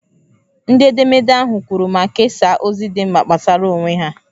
Ndị edemede ahụ kwuru ma kesaa ozi dị mkpa gbasara onwe ha.